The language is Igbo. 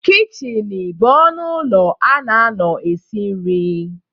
Kichịnị bụ ọnụ ụlọ a na-anọ esi nri.